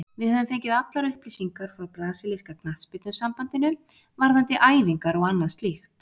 Við höfum fengið allar upplýsingar frá brasilíska knattspyrnusambandinu, varðandi æfingar og annað slíkt.